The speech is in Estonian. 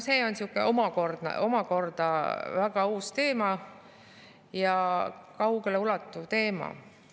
See on omakorda väga uus ja kaugeleulatuv teema.